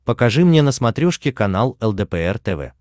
покажи мне на смотрешке канал лдпр тв